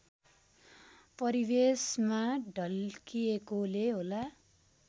परिवेशमा ढल्किएकोले होला